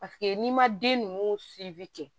Paseke n'i ma den ninnu